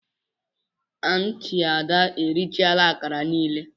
Aunti ada erichala akara niile.